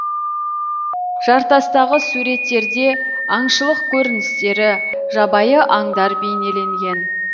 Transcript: жартастағы суреттерде аңшылық көріністері жабайы аңдар бейнеленген